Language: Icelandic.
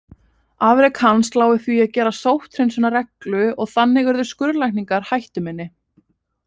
Afrek hans lá í því að gera sótthreinsun að reglu og þannig urðu skurðlækningar hættuminni.